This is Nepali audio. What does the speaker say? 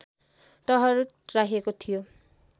टहरूट राखिएको थियो